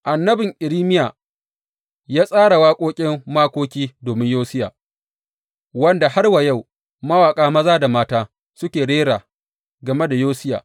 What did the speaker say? Annabin Irmiya ya tsara waƙoƙin makoki domin Yosiya, wanda har wa yau mawaƙa maza da mata suke rera game da Yosiya.